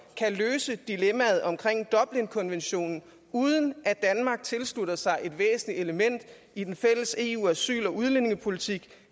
kan løse dilemmaet omkring dublinkonventionen uden at danmark tilslutter sig et væsentligt element i den fælles eu asyl og udlændingepolitik